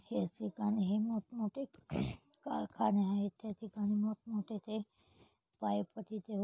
ह्या ठिकाणी हे मोठ मोठे कारखाने आहेत त्या ठिकाणी मोठ मोठे ते पाइप तिथे हो--